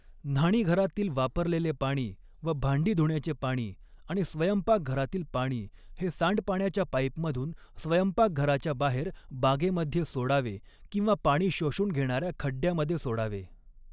न्हाणीघरातील वापरलेले पाणी व भांडी धुण्याचे पाणी आणि स्वयंपाकघरातील पाणी हे सांडपाण्याच्या पाईपमधून स्वयंपाकघराच्या बाहेर बागेमध्ये सोडावे किंवा पाणी शोषून घेणाऱ्या खड्यामध्ये सोडावे.